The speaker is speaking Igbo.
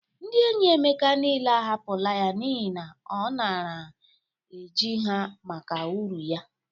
Ndị enyi Emeka niile ahapụla ya n'ihe na ọ nara e ji ha maka uru ya.